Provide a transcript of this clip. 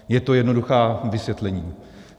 Je to jednoduché vysvětlení.